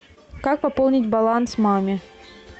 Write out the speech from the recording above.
как пополнить баланс маме